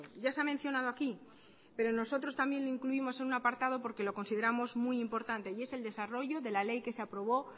ya se ha mencionado aquí pero nosotros también lo incluimos en un apartado porque lo consideramos muy importante y es el desarrollo de la ley que se aprobó